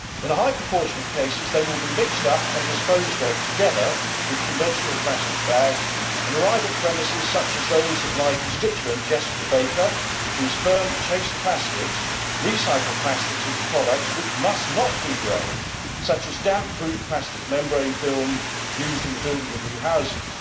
In a high proportion of cases they will be mixed up and disposed of together with conventional plastic bags and arrive at premises such as those of my constituent Jessica Baker, whose firm Chase Plastics recycles plastics into products which must not degrade, such as damp proof plastic membrane film used in the building of new houses.